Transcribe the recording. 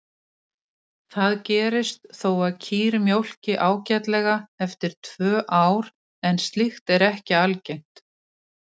Það gerist þó að kýr mjólki ágætlega eftir tvö ár en slíkt er ekki algengt.